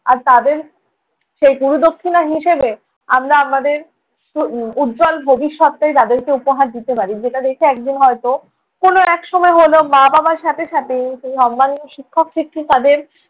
আর তাঁদের সেই গুরুদক্ষিণা হিসেবে আমরা আমাদের উহ উজ্জ্বল ভবিষ্যতটাই তাদেরকে উপহার দিতে পারি। যেটা দেখে একদিন হয়ত কোনো এক সময়ে হলেও মা-বাবার সাথে সাথে সম্মানীয় শিক্ষক শিক্ষিকাদের